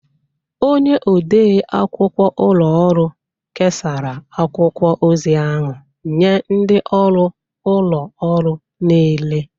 Onye odeakwụkwọ ụlọ ọrụ kesara akwụkwọ ozi ahụ nye ndị ọrụ ụlọ ọrụ niile.